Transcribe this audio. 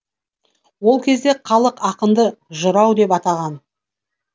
ол кезде халық ақынды жырау деп атаған